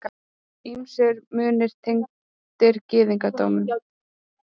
Ýmsir munir tengdir gyðingdómnum.